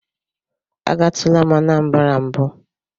Agatula m Anambara mbụ.